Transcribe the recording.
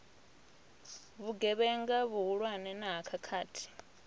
vhugevhenga vhuhulwane na ha khakhathi